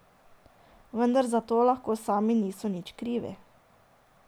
Vendar za to lahko sami niso nič krivi.